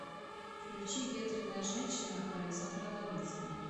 включи ветреная женщина александра ломинского